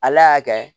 Ala y'a kɛ